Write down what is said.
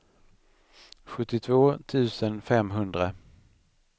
sjuttiotvå tusen femhundra